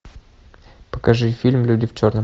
покажи фильм люди в черном